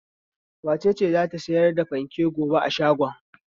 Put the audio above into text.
Wace ce za ta sayar da fanken gobe a shagon?